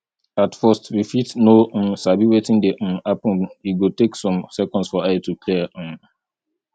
at first we fit no um sabi wetin dey um happen e go take some seconds for eye to clear um